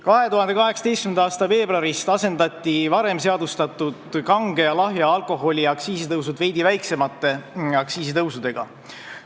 2018. aasta veebruarist asendati varem seadustatud kange ja lahja alkoholi aktsiisi tõusud veidi väiksemate aktsiisitõusudega.